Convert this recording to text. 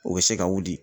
O bɛ se ka wuli